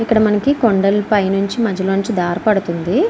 ఇక్కడ మనకి కొండలపై నుంచి మధ్యలో నుంచి దార పడుతూ ఉంది.